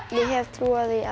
ég hef trú á